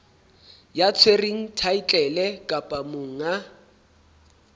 ya tshwereng thaetlele kapa monga